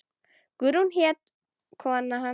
Guðrún hét kona hans.